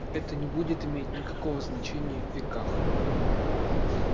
это не будет иметь никакого значения в веках